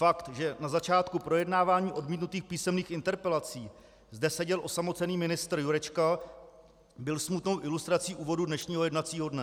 Fakt, že na začátku projednávání odmítnutých písemných interpelací zde seděl osamocený ministr Jurečka, byl smutnou ilustrací úvodu dnešního jednacího dne.